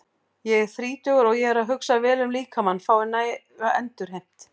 Ég er þrítugur og ég hugsa vel um að líkaminn fái næga endurheimt.